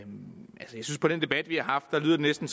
det på den debat vi har haft næsten